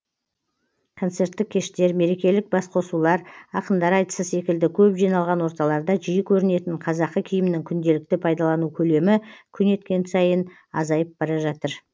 концерттік кештер мерекелік басқосулар ақындар айтысы секілді көп жиналған орталарда жиі көрінетін қазақы киімнің күнделікті пайдалану көлемі күн өткен сайын азайып бара жатыр